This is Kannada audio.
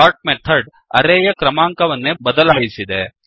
ಸೋರ್ಟ್ ಮೆಥಡ್ ಅರೇಯ ಕ್ರಮಾಂಕವನ್ನೇ ಬದಲಾಯಿಸಿದೆ